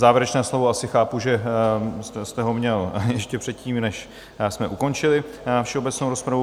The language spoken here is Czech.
Závěrečné slovo asi chápu, že jste ho měl ještě předtím, než jsme ukončili všeobecnou rozpravu.